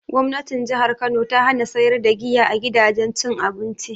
Gwamnatin jihar kano ta hana sayar da giya a gidajen cin abinci